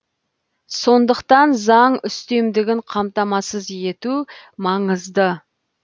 сондықтан заң үстемдігін қамтамасыз ету маңызды